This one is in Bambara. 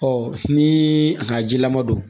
ni a ka jilama don